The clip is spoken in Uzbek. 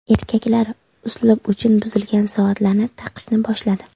Erkaklar uslub uchun buzilgan soatlarni taqishni boshladi.